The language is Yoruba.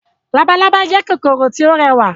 Labalábá jẹ́ kòkòrò tí ó rẹwà